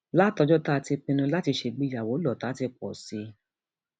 látọjọ tá a ti pinnu láti ṣègbéyàwó lọtà ti pọ sí i